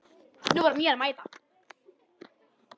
Nú var mér að mæta!